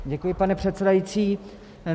Děkuji, pane předsedající.